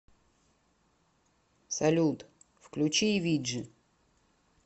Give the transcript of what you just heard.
салют включи и ви джи